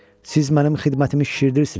Siz mənim xidmətimi şişirdirsiniz.